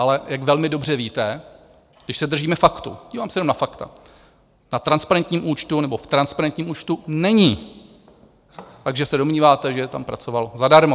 Ale jak velmi dobře víte - když se držíme faktů, dívám se jenom na fakta - na transparentním účtu nebo v transparentním účtu není, takže se domníváte, že tam pracoval zadarmo.